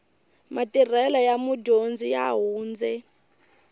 matirhelo ya mudyondzi ya hundze